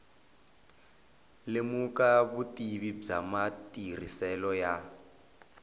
lemuka vutivi bya matirhiselo ya